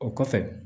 O kɔfɛ